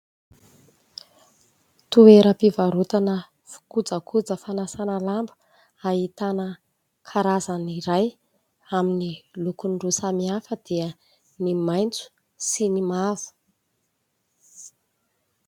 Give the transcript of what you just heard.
Toeram-pivarotana kojakoja fanasana lamba ahitana karazany iray amin'ny lokony roa samihafa dia ny maitso sy ny mavo.